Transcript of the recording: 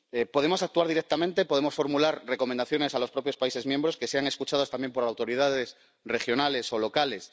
Podemos actuar directamente, podemos formular recomendaciones a los propios países miembros, que sean escuchadas también por autoridades regionales o locales.